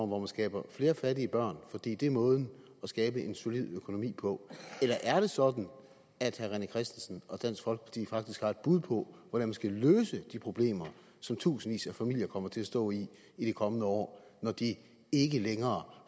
hvor man skaber flere fattige børn fordi det er måden at skabe en solid økonomi på eller er det sådan at herre rené christensen og dansk folkeparti faktisk har et bud på hvordan man skal løse de problemer som tusindvis af familier kommer til at stå i i de kommende år når de ikke længere